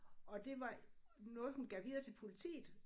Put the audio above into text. Og det var noget hun gav videre til politiet